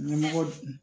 Ɲɛmɔgɔ